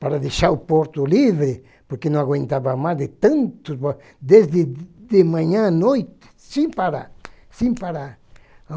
para deixar o porto livre, porque não aguentava mais de tanto, desde de de manhã à noite, sem parar, sem parar.